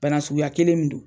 Bana suguya kelen min don